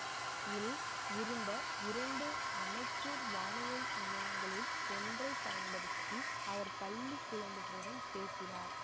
இல் இருந்த இரண்டு அமெச்சூர் வானொலி நிலையங்களில் ஒன்றை பயன்படுத்தி அவர் பள்ளி குழந்தைகளுடன் பேசினார்